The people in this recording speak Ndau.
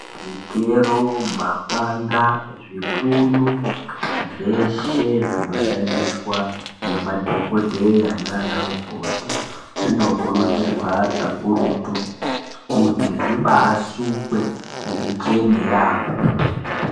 Zvigero mapanga zvipunu zveshe zvinoshandiswa ngemadhokodheya nana mukoti zvinokurudzirwa kakurutu kuti zvisukwe zvibaa chene yaampo.